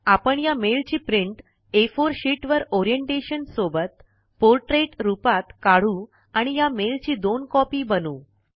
आपण या मेल ची प्रिंट आ4 शिट वर ओरिएंटेशन सोबत पोर्ट्रेट रुपात काढू आणि या मेल ची दोन कॉंपी बनवू